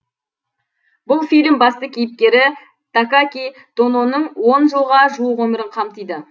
бұл фильм басты кеійпкері такаки тононың он жылға жуық өмірін қамтиды